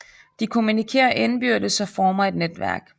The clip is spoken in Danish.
De kommunikerer indbyrdes og former et netværk